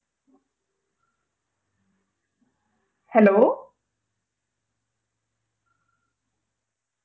hello